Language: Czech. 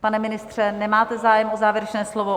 Pane ministře, nemáte zájem o závěrečné slovo?